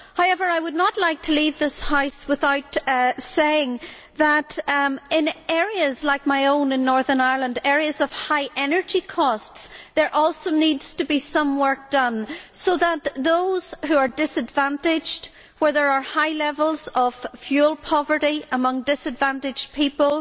However, I would not like to leave this House without saying that, in areas like my own in Northern Ireland, areas of high energy costs, there also needs to be some work done to take account of those who are disadvantaged where there are high levels of fuel poverty amongst disadvantaged people,